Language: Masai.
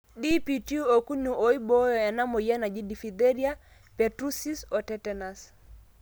DPT okuni oibooyo inamweyian naji diphetheria, pertussis o tetenus